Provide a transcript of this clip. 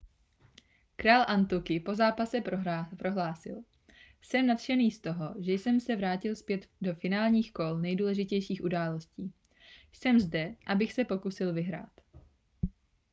král antuky po zápase prohlásil jsem nadšený z toho že jsem se vrátil zpět do finálových kol nejdůležitějších událostí jsem zde abych se pokusil vyhrát